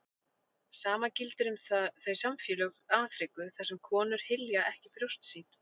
sama gildir um þau samfélög afríku þar sem konur hylja ekki brjóst sín